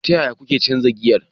Ta yaya kuke canza giyar?